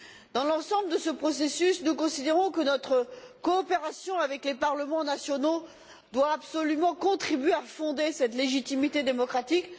Dans l'ensemble de ce processus, nous considérons que notre coopération avec les parlements nationaux doit absolument contribuer à fonder cette légitimité démocratique.